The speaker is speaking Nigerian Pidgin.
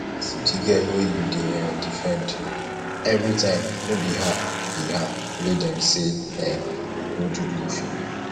see the girl wey you dey um defend everytime no be her be her wey dem say um go do blue film